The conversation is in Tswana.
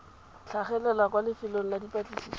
tlhagelela kwa lefelong la dipatlisiso